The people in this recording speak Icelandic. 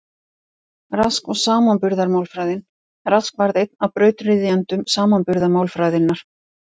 Rask og samanburðarmálfræðin Rask varð einn af brautryðjendum samanburðarmálfræðinnar.